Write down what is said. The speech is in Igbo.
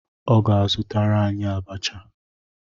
Ọ ga-azụtara anyị abacha.